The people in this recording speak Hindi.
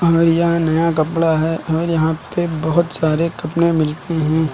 और यह नया कपड़ा है और यहां पे बहुत सारे कपड़े मिलते हैं।